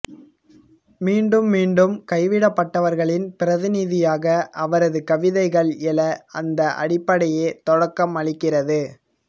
மீண்டும் மீண்டும் கைவிடப்பட்டவர்களின் பிரந்திநிதியாக அவரது கவிதைகள் எழ அந்த அடிபப்டையே தொடக்கம் அளிக்கிறது